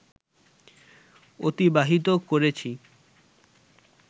অতিবাহিত করেছি